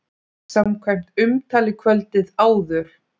Samkvæmt umtali kvöldið áður!